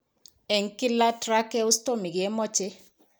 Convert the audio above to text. En kila, tracheostomy kemoche.